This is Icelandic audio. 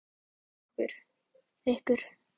Þannig að fólkið sem bjó hérna á undan ykkur.